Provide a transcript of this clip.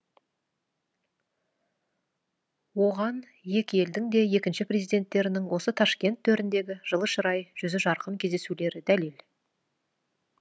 оған екі елдің де екінші президенттерінің осы ташкент төріндегі жылы шырай жүзі жарқын кездесулері дәлел